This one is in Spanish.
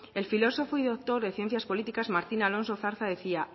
el filósofo y doctor de ciencias políticas martin alonso zarza decía